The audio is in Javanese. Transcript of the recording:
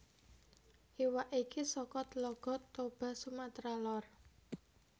Iwak iki saka Tlaga Toba Sumatera Lor